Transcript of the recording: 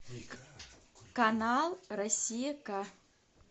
канал россия к